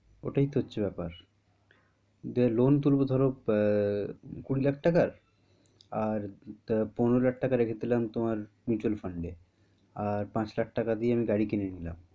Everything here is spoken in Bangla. ওটাই তো হচ্ছে ব্যাপার যে loan তুলবো ধরো এ এ ধরো কুড়ি লাখ টাকার আর পনেরো লাখ টাকা রেখে দিলাম তোমার mutual fund এ আর পাঁচ লাখ টাকা দিয়ে আমি গাড়ী কিনে নিলাম।